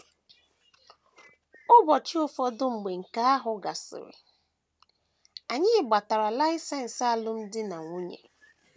Ụbọchị ụfọdụ mgbe nke ahụ gasịrị, anyị gbatara laịsensị alụmdi na nwunye.